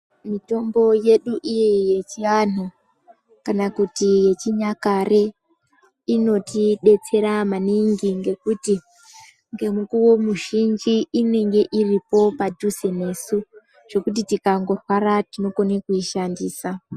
Mitombo yedu iyi yechiantu kana kuti yechinyakare inoti detsera maningi ngekuti ngemukuwo mizhinji inenge iripo padhuze nesu zvekuti tikangi rwara tinokona kuishandisa.